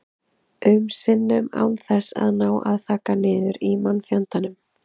um sinnum án þess að ná að þagga niður í mannfjandanum.